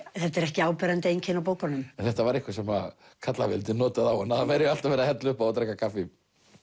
þetta er ekki áberandi einkenni á bókunum en þetta var eitthvað sem notaði á hana að það væri alltaf verið að hella upp á og drekka kaffi